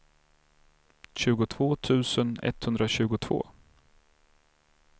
tjugotvå tusen etthundratjugotvå